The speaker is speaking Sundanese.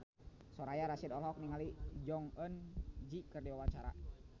Soraya Rasyid olohok ningali Jong Eun Ji keur diwawancara